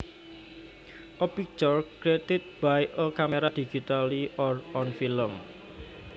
A picture created by a camera digitally or on film